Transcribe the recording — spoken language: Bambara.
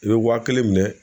I bɛ wa kelen minɛ